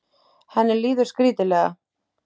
Henni líður skrítilega.